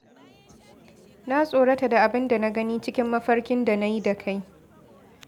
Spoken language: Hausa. Na tsorata da abinda na gani cikin mafarkin da na yi da kai.